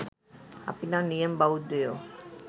අපි නම් නියම බෞද්ධයෝ